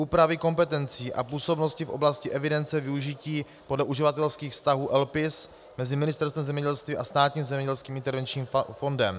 Úpravy kompetencí a působnosti v oblasti evidence využití podle uživatelských vztahů LPIS mezi Ministerstvem zemědělství a Státním zemědělským intervenčním fondem.